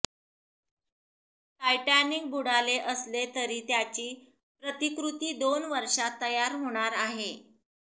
Titanic बुडाले असले तरी त्याची प्रतिकृती दोन वर्षांत तयार होणार आहे